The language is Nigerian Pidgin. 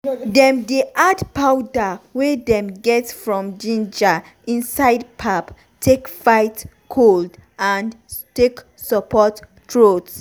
dem dey add powder wey dem get from ginger inside pap take fight cold and take support throat.